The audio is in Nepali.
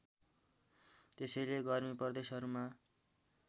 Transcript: त्यसैले गर्मी प्रदेशहरूमा